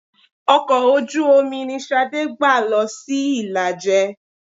Ọkọ̀ ojú-omi ni Ṣadé gbà lọ sí Ìlàjẹ.